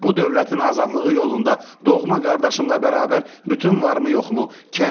Bu dövlətin azadlığı yolunda doğma qardaşımla bərabər bütün varımı yoxmu?